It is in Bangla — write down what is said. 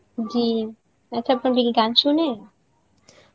জী, আচ্ছা আপা আপনি কি গান শোনেন?